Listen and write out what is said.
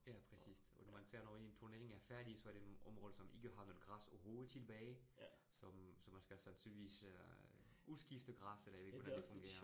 Ja, præcist og man ser når en turnering er færdig, så er det nogle områder, som ikke har noget græs overhovedet tilbage, så så man skal sandsynligvis øh udskifte græsset, eller jeg ved ikke, hvordan det fungerer